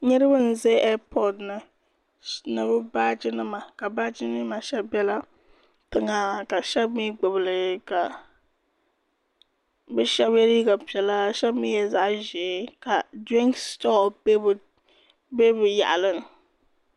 Niraba n bɛ eei pooti ni bi baaji nima baaji nim maa shɛli ʒɛla tiŋa ka shab mii gbubili bi shab yɛ liiga piɛlli ka shab mii yɛ zaɣ ʒiɛ ka dirinks sitoo bɛ bi yaɣili ni